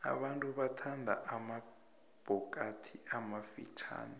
abantu bathanda amabhokathi amafitjhani